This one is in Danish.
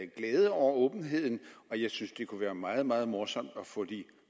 glæde over åbenheden og jeg synes det kunne være meget meget morsomt at få de